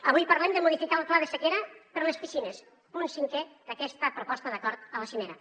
avui parlem de modificar el pla de sequera per a les piscines punt cinquè d’aquesta proposta d’acord a la cimera